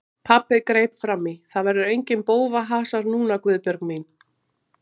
Pabbi greip fram í: Það verður enginn bófahasar núna Guðbjörg mín.